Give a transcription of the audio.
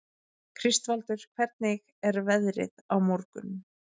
Kristvaldur, hvernig er veðrið á morgun?